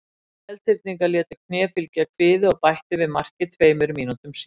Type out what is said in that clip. Seltirningar létu kné fylgja kviði og bættu við marki tveimur mínútum síðar.